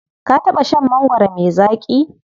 Ka taɓa shan mangwaro me zaƙi?